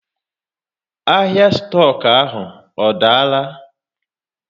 Ahịa stoku ọ daala?